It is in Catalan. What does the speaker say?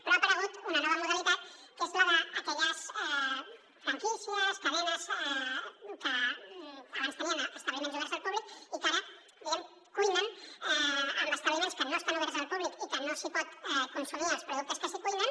però ha aparegut una nova modalitat que és la d’aquelles franquícies cadenes que abans tenien establiments oberts al públic i que ara diguem ne cuinen en establiments que no estan oberts al públic i que no s’hi poden consumir els productes que s’hi cuinen